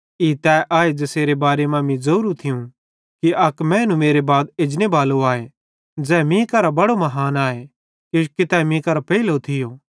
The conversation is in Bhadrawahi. ई तै आए ज़ेसेरे बारे मां मीं ज़ोरू थियूं कि अक मैनू मेरे बाद एजनेबालो आए ज़ै मीं करां बड़ो महान आए किजोकि तै मीं करां पेइलो थियो